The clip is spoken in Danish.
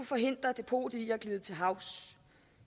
forhindre depotet i at glide til havs